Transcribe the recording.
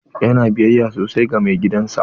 Yana biyayya sosai ga mai gidan sa.